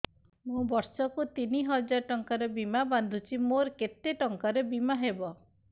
ମୁ ବର୍ଷ କୁ ତିନି ହଜାର ଟଙ୍କା ବୀମା ବାନ୍ଧୁଛି ମୋର କେତେ ଟଙ୍କାର ବୀମା ହବ